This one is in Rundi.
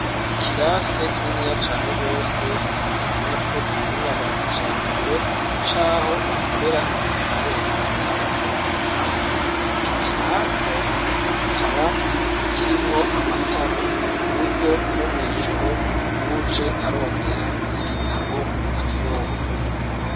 Ikirasi kininiya cane rwose cubatswe kubuhinga bwa kijambere caho bakorera ibitabo bakongera bakabibikaho co kirasi kikaba kirimwo amatara kuburyo nomwijoro uwuje arondera igitabo akironka.